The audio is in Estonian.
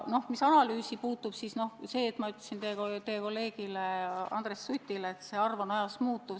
Mis analüüsi puutub, siis jah, ma ütlesin teie kolleegile Andres Sutile, et see arv on ajas muutuv.